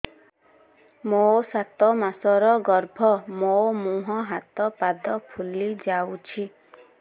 ମୋ ସାତ ମାସର ଗର୍ଭ ମୋ ମୁହଁ ହାତ ପାଦ ଫୁଲି ଯାଉଛି